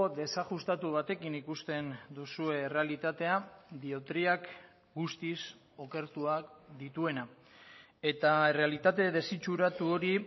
desajustatu batekin ikusten duzue errealitatea diotriak guztiz okertuak dituena eta errealitate desitxuratu hori